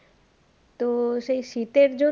তো সেই শীতের জন্যে